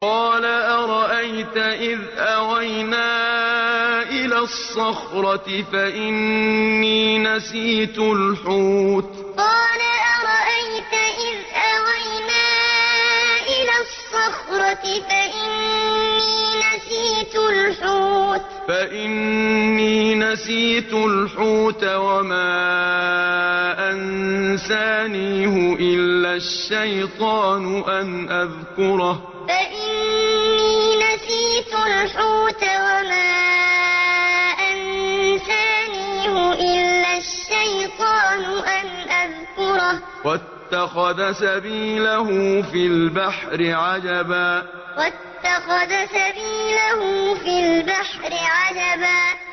قَالَ أَرَأَيْتَ إِذْ أَوَيْنَا إِلَى الصَّخْرَةِ فَإِنِّي نَسِيتُ الْحُوتَ وَمَا أَنسَانِيهُ إِلَّا الشَّيْطَانُ أَنْ أَذْكُرَهُ ۚ وَاتَّخَذَ سَبِيلَهُ فِي الْبَحْرِ عَجَبًا قَالَ أَرَأَيْتَ إِذْ أَوَيْنَا إِلَى الصَّخْرَةِ فَإِنِّي نَسِيتُ الْحُوتَ وَمَا أَنسَانِيهُ إِلَّا الشَّيْطَانُ أَنْ أَذْكُرَهُ ۚ وَاتَّخَذَ سَبِيلَهُ فِي الْبَحْرِ عَجَبًا